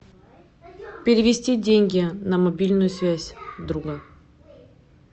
перевести деньги на мобильную связь друга